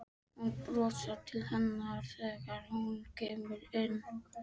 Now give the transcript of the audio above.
Hún brosir til hennar þegar hún kemur inn.